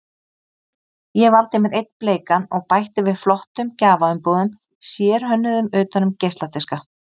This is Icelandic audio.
Ég valdi mér einn bleikan og bætti við flottum gjafaumbúðum, sérhönnuðum utan um geisladiska.